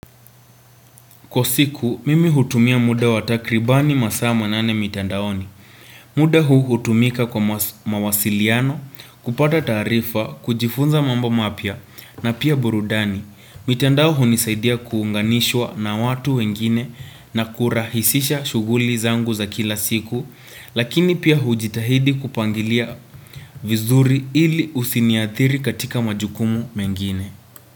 Kwa siku mimi hutumia muda wa takribani masaa manane mitandaoni muda huu hutumika kwa mawasiliano kupata taarifa kujifunza mambo mapya na pia burudani mitandao hunisaidia kuunganishwa na watu wengine na kurahisisha shughuli zangu za kila siku lakini pia hujitahidi kupangilia vizuri ili usiniathiri katika majukumu mengine.